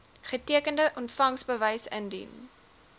getekende ontvangsbewys indien